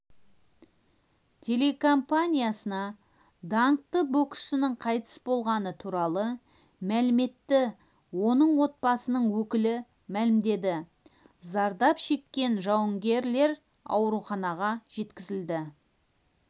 телекомпаниясына даңқты боксшының қайтыс болғаны туралы мәліметті оның отбасының өкілі мәлімдеді зардап шеккен жауынгерлер ауруханаға жеткізілді